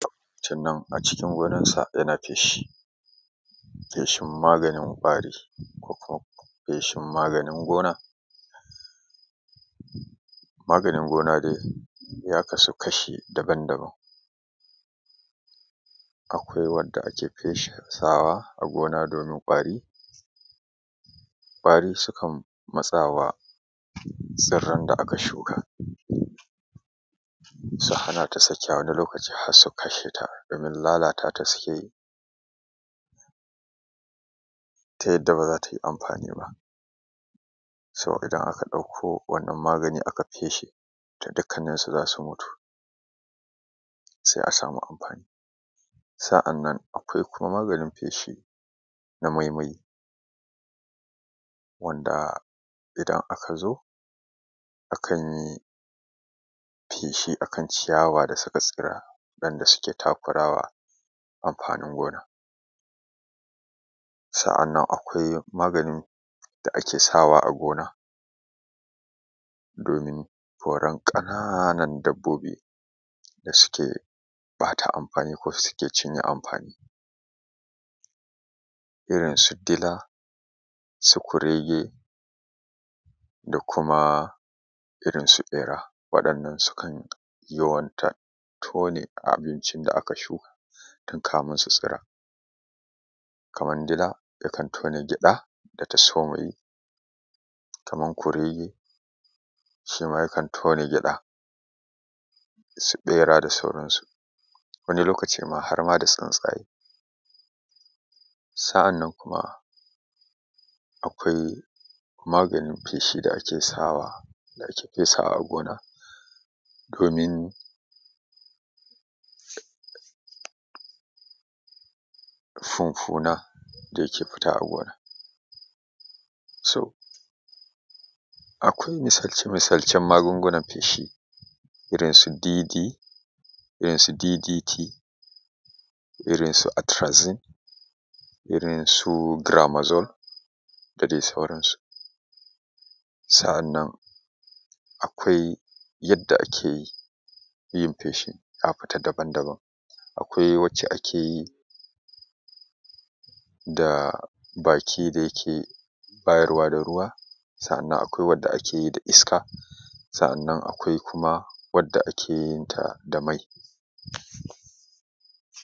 To a cikin wurin sa yana feshi feshin magananin ƙwari ko kuma feshin maganin gona. Maganin gona dai ya kasu kashi daban-daban, akwai wadda ake fesawa a gona domin kwari, kwari sukan matsawa tsirran da aka shuka, su hana ta sakewa wani lokaci har su kasha ta, lalatata suke yi ta yadda ba za tai amfani ba. So, idan aka ɗakko wani wannan magani aka feshe to dukkanin su za su mutu se a samu amfani sa’an nan kuma akwai maganin feshi na maimai wanda idan aka zo akan yi feshi akanciya dasu ka tsira waɗan da suke takurawa amfani gona, sa’an nan akwai maganin da ake sawa a gona domin koran ƙananan dabbobi da suke ɓata amfani ko suke cinye amfani irin su dila, su kurege da kuma irin su ɓera waɗannan sukan yawanta tone abincin da aka shuka tun kafin su tsira kaman dila yakan tona gyaɗa da ta soma yi, kaman kurege shi ma yakan tona gyaɗa su ɓera da sauransu wani lokaci ma har da ma tsintsaye sa’an nan kuma akwai maganin feshi da ake sawa da ake fesawa a gona domin funfuna da yake fita a gona so akwai misalce-misalcen magungunan feshi irin su dd irinsu ddt, irin su atirazin, irin su giramazon, da dai sauransu sa’an nan akwai yadda ake yin feshi ka futa daban-daban, akwai wadda ake yi da baki da yake bayarwa da ruwa, sa’a nan akwai wadda ake yi da iska, sa’an nan akwai kuma wadda ake yin ta da mai.